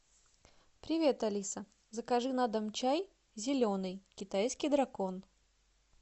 привет алиса закажи на дом чай зеленый китайский дракон